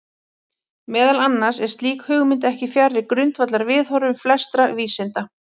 Meðal annars er slík hugmynd ekki fjarri grundvallarviðhorfum flestra vísinda.